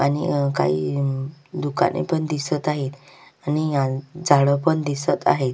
आणि काही अम दुकाने पण दिसत आहेत आणि आन झाड पण दिसत आहेत.